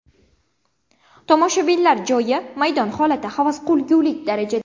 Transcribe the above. Tomoshabinlar joyi, maydon holati havas qilgulik darajada.